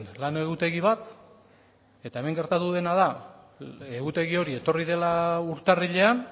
lan egutegi bat eta hemen gertatu dena da egutegi hori etorri dela urtarrilean